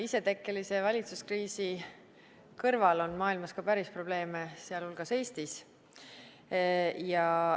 Isetekkelise valitsuskriisi kõrval on maailmas ka päris probleeme, sealhulgas Eestis.